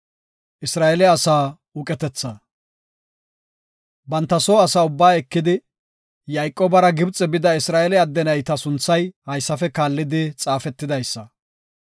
Banta soo asaa ubba ekidi, Yayqoobara Gibxe bida Isra7eele adde nayta sunthay haysafe kaallidi xaafetidaysa;